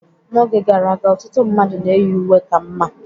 N'oge gara aga, ọtụtụ mmadụ na-eyi uwe ka mma